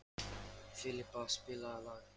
Filippa, spilaðu lag.